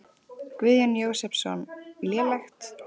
Guðjón Jósepsson: Lélegt?